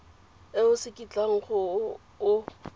e o se kitlang o